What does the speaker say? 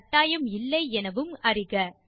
கட்டாயம் இல்லை எனவும் அறிக